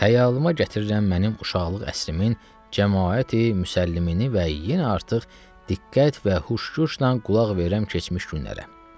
Xəyalıma gətirirəm mənim uşaqlıq əsrimin Cəmaəti Müsəllimini və yenə artıq diqqət və huş-guşla qulaq verirəm keçmiş günlərə.